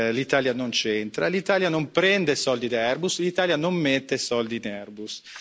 L'Italia non centra, l'Italia non prende soldi da Airbus, l'Italia non mette soldi in Airbus.